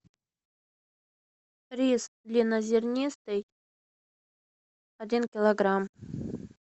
рис длиннозернистый один килограмм